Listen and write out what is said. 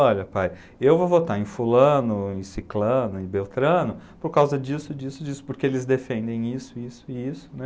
Olha, pai, eu vou votar em fulano, em ciclano, em beltrano, por causa disso, disso, disso, porque eles defendem isso, isso e isso, né?